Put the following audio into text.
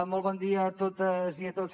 molt bon dia a totes i a tots